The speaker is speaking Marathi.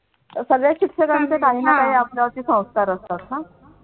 सगळ्याच शिक्षकांचे काही ना काही आपला वरती संस्कार असतात ना.